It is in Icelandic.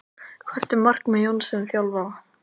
Hvert er markmið Jóns sem þjálfara?